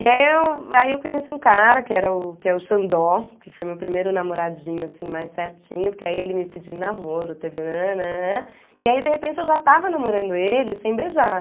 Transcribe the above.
E aí eu aí eu conheci um cara, que era o que é o Xandó, que foi meu primeiro namoradinho assim mais certinho, porque aí ele me pediu em namoro, teve nananã... E aí, de repente, eu já estava namorando ele sem beijar.